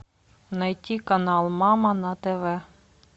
найти канал мама на тв